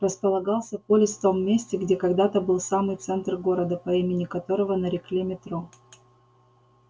располагался полис в том месте где когда-то был самый центр города по имени которого нарекли метро